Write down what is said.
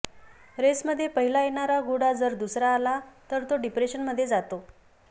रेसमध्ये पहिला येणारा घोडा जर दुसरा आला तर तो डिप्रेशनमध्ये जातो